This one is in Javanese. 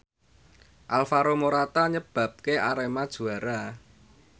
Alvaro Morata nyebabke Arema juara